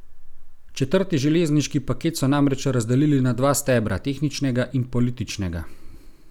Četrti železniški paket so namreč razdelili na dva stebra, tehničnega in političnega.